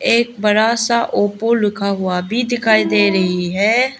एक बड़ा सा ओप्पो लिखा हुआ भी दिखाई दे रही है।